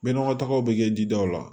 Be nɔgɔ tagaw be kɛ jidaw la